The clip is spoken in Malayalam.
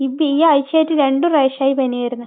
ഇപ്പൊ ഈ ആഴ്ചയിൽ രണ്ട് പ്രാവശ്യമായി പനി വരുന്ന്.